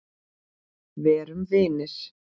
Verum vinir.